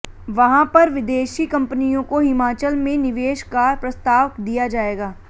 वहां पर विदेशी कंपनियों को हिमाचल में निवेश का प्रस्ताव दिया जाएगा